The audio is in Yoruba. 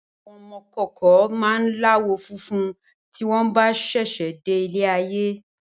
Ọmọ ìkókó máa láwọ̀ funfun tí wọn bá sẹsẹ de ilé ayé